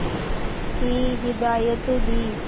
की हिदायत दी